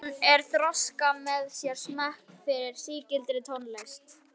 Símon er að þroska með sér smekk fyrir sígildri tónlist.